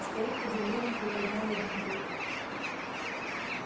старик удивлённо приподнял одну бровь